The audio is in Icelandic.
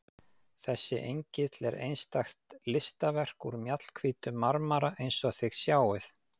Þessi engill er einstakt listaverk úr mjallhvítum marmara eins og þið sjáið.